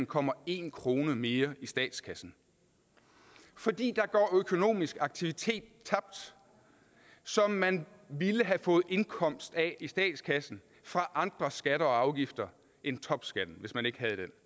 kommer en kroner mere i statskassen fordi der går økonomisk aktivitet tabt som man ville have fået indkomst af i statskassen fra andre skatter og afgifter end topskatten hvis man ikke havde den